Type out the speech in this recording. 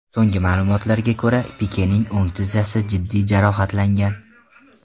So‘nggi ma’lumotlarga ko‘ra, Pikening o‘ng tizzasi jiddiy jarohatlangan .